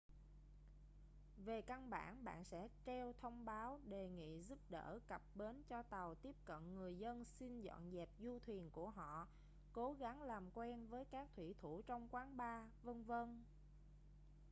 về căn bản bạn sẽ treo thông báo đề nghị giúp đỡ cập bến cho tàu tiếp cận người dân xin dọn dẹp du thuyền của họ cố gắng làm quen với các thủy thủ trong quán bar v.v